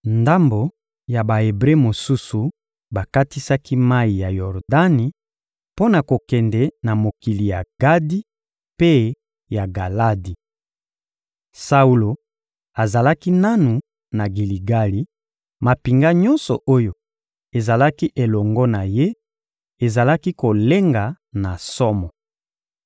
Ndambo ya Ba-Ebre mosusu bakatisaki mayi ya Yordani mpo na kokende na mokili ya Gadi mpe ya Galadi. Saulo azalaki nanu na Giligali, mampinga nyonso oyo ezalaki elongo na ye ezalaki kolenga na somo.